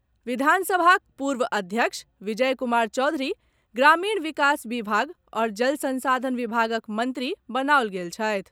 विधानसभाक पूर्व अध्यक्ष विजय कुमार चौधरी ग्रामीण विकास विभाग आओर जल संसाधन विभागक मंत्री बनाओल गेल छथि।